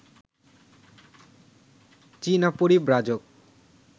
চীনা পরিব্রাজক